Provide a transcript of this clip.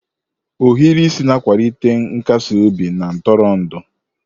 Ohiri isi na-akwalite nkasi obi na ntụrụndụ.